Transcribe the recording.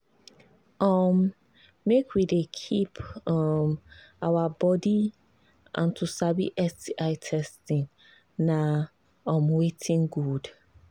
um make we they keep um our body and to sabi sti testing na um watin good